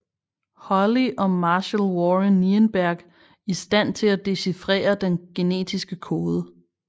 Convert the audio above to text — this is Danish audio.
Holley og Marshall Warren Nirenberg i stand til at dechifrere den genetiske kode